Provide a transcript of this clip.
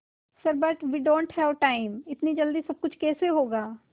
sir but we don't have time इतनी जल्दी सब कुछ कैसे होगा